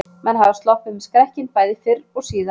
Menn hafa sloppið með skrekkinn bæði fyrr og síðar.